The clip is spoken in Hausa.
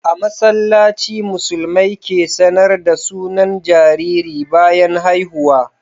A masallaci musulmai ke sAnar da sunan jariri bayan haihuwa